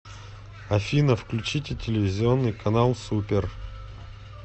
афина включите телевизионный канал супер